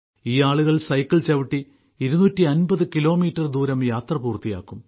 ഈ ആളുകൾ സൈക്കിൾ ചവിട്ടി 250 കിലോമീറ്റർ ദൂരം യാത്ര പൂർത്തിയാക്കും